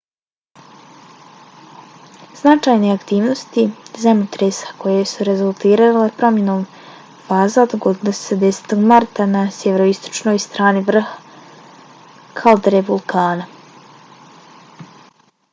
značajne aktivnosti zemljotresa koje su rezultirale promjenom faza dogodile su se 10. marta na sjeveroistočnoj strani vrha kaldere vulkana